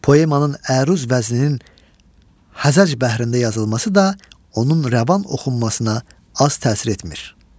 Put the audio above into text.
Poemanın əruz vəzninin Həzəc bəhrində yazılması da onun rəvan oxunmasına az təsir etmir.